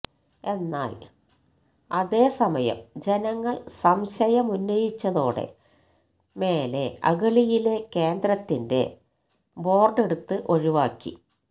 എന്നാൽ അതേ സമയം ജനങ്ങൾ സംശയമുന്നയിച്ചതോടെ മേലെ അഗളിയിലെ കേന്ദ്രത്തിന്റെ ബോർഡെടുത്ത് ഒഴിവാക്കി